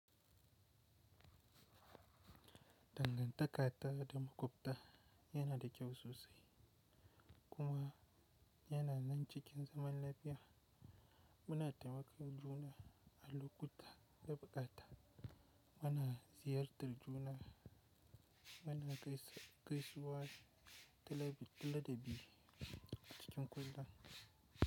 Dangantaka ta da makwabta yana da kyau sosai, kuma yana nan cikin zaman lafiya, muna taimakon juna a lokuta da bukata, muna ziyartar juna, muna gaisuwa talabi a cikin kulda.